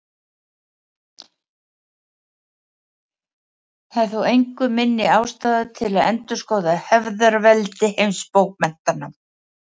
Það er þó engu minni ástæða til að endurskoða hefðarveldi heimsbókmenntanna.